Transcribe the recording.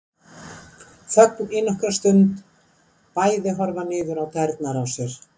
Þögn í nokkra stund, bæði horfa niður á tærnar á sér.